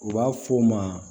U b'a f'o ma